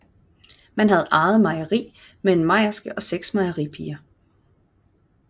Man havde eget mejeri med en mejerske og seks mejeripiger